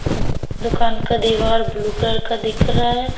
दुकान का दीवार ब्लू कलर का दिख रहा है।